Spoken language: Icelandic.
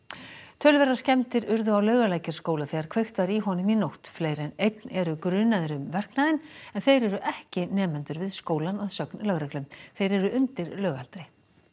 töluverðar skemmdir urðu á Laugalækjarskóla þegar kveikt var í honum í nótt fleiri en einn eru grunaðir um verknaðinn en þeir eru ekki nemendur við skólann að sögn lögreglu þeir eru undir lögaldri